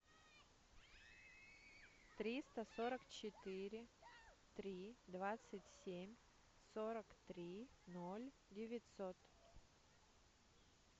триста сорок четыре три двадцать семь сорок три ноль девятьсот